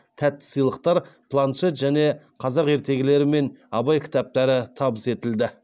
тәтті сыйлықтар планшет және қазақ ертегілері мен абайдың кітаптары табыс етілді